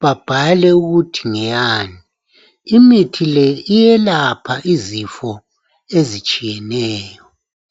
babhale ukuthi ngeyani. Imithi le iyelapha izifo ezitshiyeneyo